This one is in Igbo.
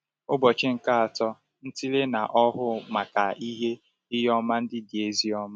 Ụbọchị nke Atọ – Ntịle na Ọhụụ Maka Ihe Ihe Ọma Ndị Dị Ezi Ọma